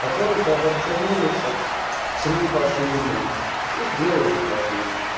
который коллаборационизм лица с фашизмом